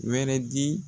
Wɛrɛ di